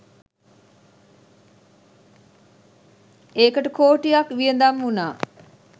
ඒකට කෝටියක් වියදම් වුණා.